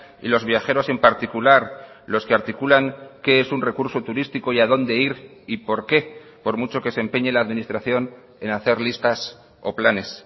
y los viajeros en particular los que articulan qué es un recurso turístico y a dónde ir y por qué por mucho que se empeñe la administración en hacer listas o planes